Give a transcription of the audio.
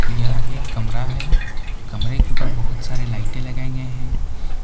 यह एक कमरा है कमरे के ऊपर बहुत सारे लाइटे लगाए गए हैं।